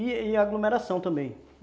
E e a aglomeração também.